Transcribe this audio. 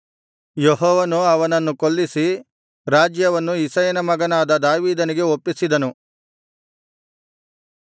ಯೆಹೋವನು ಅವನನ್ನು ಕೊಲ್ಲಿಸಿ ರಾಜ್ಯವನ್ನು ಇಷಯನ ಮಗನಾದ ದಾವೀದನಿಗೆ ಒಪ್ಪಿಸಿದನು